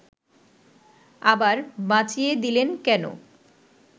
আবার বাঁচিয়ে দিলেন কেন